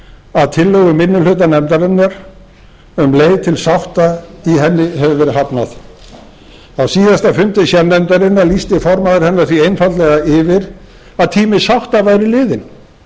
að tillögu minni hluta nefndarinnar um leið til sátta í henni hefur verið hafnað á síðasta fundi sérnefndarinnar lýsti formaður hennar því einfaldlega yfir að tími sátta væri liðinn